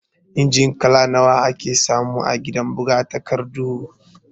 Injin kala nawa ake samu a gidan buga takardu?